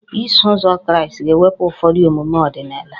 Iso Ụzọ Kraịst ga-ewepụ ụfọdụ omume ọdịnala